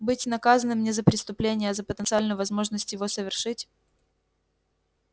быть наказанным не за преступление а за потенциальную возможность его совершить